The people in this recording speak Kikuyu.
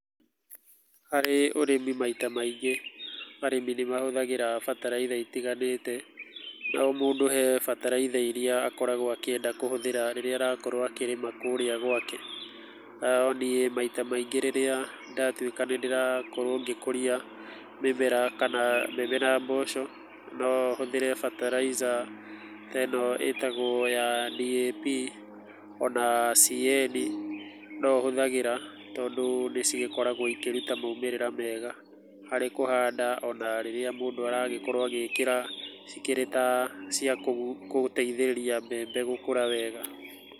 Harĩ ũrĩmi maita maingĩ arĩmi nĩ mahũthagĩra bataraitha itiganĩte, na o mũndũ he bataraitha iria akoragwo akĩendia kũhũthĩra rĩrĩa arakorwo akĩrĩma kũrĩa gwake, no niĩ maita marĩa rĩrĩa ndatuĩka nĩ ndĩrakorwo ngĩkũria mĩmera kana mbembe na mboco, no hũthĩre bataraitha ta ĩno ĩtagwo DAP, ona CAN no hũthagĩra tondũ, nĩ cikoragwo ĩkĩruta maumĩrĩra mega, harĩ kũhanda ona rĩrĩa mũndũ arakorwo agĩkĩra cikĩrĩ ta cia gũteithĩrĩria mbembe gũkũra wega.